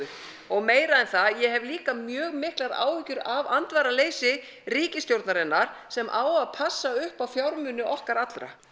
og meira en það ég hef líka mjög miklar áhyggjur af andvaraleysi ríkisstjórnarinnar sem á að passa upp á fjármuni okkar allra